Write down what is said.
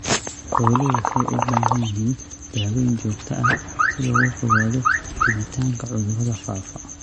Xooluhu waxay u baahan yihiin daawayn joogto ah si looga fogaado fiditaanka cudurrada faafa.